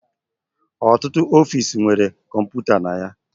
Ọtụtụ ọfiisi nwere kọmputa na ya